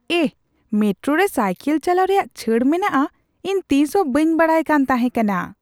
ᱮᱦ! Metro ᱨᱮ cycle ᱪᱟᱞᱟᱣ ᱨᱮᱭᱟᱜ ᱪᱷᱟᱹᱲ ᱢᱮᱱᱟᱜᱼᱟ ᱾ ᱤᱧ ᱛᱤᱥ ᱦᱚᱸ ᱵᱟᱹᱧ ᱵᱟᱰᱟᱭ ᱠᱟᱱ ᱛᱟᱦᱮᱸ ᱠᱟᱱᱟ ᱾